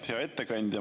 Hea ettekandja!